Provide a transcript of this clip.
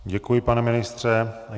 Děkuji, pane ministře.